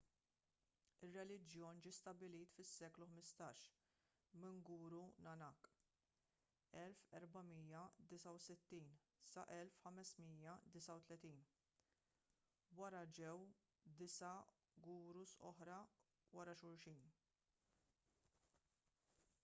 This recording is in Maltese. ir-reliġjon ġie stabbilit fis-seklu 15 minn guru nanak 1469–1539. wara ġew disa' gurus oħra wara xulxin